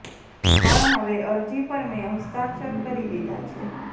પણ હવે અરજી પર મેં હસ્તાક્ષર કરી દીધા છે